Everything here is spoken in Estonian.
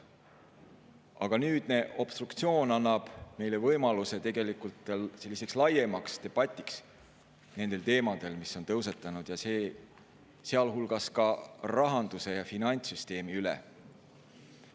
Aga nüüdne obstruktsioon annab meile võimaluse tegelikult selliseks laiemaks debatiks nendel teemadel, mis on tõusetunud, sealhulgas rahanduse ja finantssüsteemi üle.